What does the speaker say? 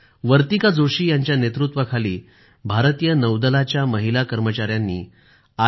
वर्तिका जोशी यांच्या नेतृत्वाखाली भारतीय नौदलाच्या महिला कर्मचाऱ्यांनी आय